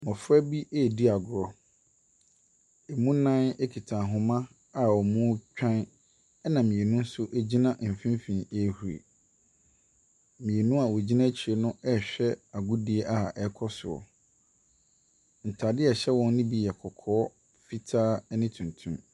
Mmɔfra bi ɛredi agorɔ. Emu nnan ekuta ahoma a wɔɔtwan ɛna mmienu nso egyina mfinfinn ehuri. Mmienu a ɔgyina akyire no ɛrehwɛ agudie a ɛɛkɔ soɔ no. ntaadeɛ a ɛhyɛ wɔn no bi yɛ kɔkɔɔ, fitaa ɛne tuntum.